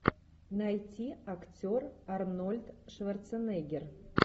найти актер арнольд шварценеггер